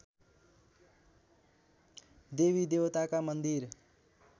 देवीदेवताका मन्दिर